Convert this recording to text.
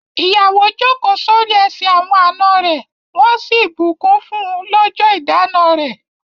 Ìyàwó jókòó sórí ẹsẹ̀ awọn àna rẹ̀ wọ́n sì bù kún fún lọjọ ìdána rẹ̀.